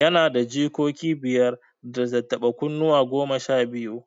Yana da jikoki biyar, da tattaɓa kunne goma sha biyu.